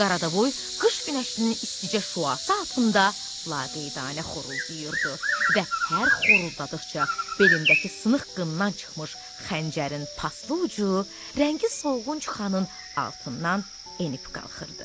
Qaradavoy qış günəşinin isticə şüası altında laqeydanə xoruldadırdı və hər xoruladadiqca belindəki sınıq qından çıxmış xəncərin paslı ucu rəngi solğun çuxanın altından enib qalxırdı.